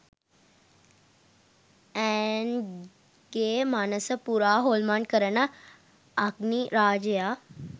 ඈන්ග්ගේ මනස පුරා හොල්මන් කරන අග්නි රාජයා